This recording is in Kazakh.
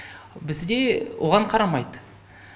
бізде оған қарамайды